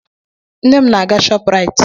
Nne m na-aga Shọpraịt.